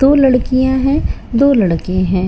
दो लड़कियां हैं दो लड़के हैं।